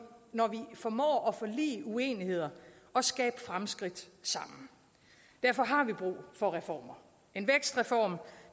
formår at forlige uenigheder og skabe fremskridt sammen derfor har vi brug for reformer en vækstreform